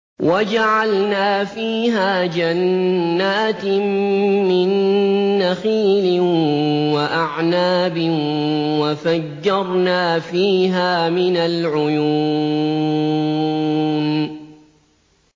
وَجَعَلْنَا فِيهَا جَنَّاتٍ مِّن نَّخِيلٍ وَأَعْنَابٍ وَفَجَّرْنَا فِيهَا مِنَ الْعُيُونِ